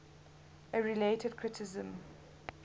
a related criticism